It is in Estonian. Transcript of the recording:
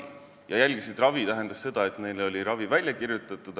See ravi järgimine tähendas seda, et neile oli ravi välja kirjutatud.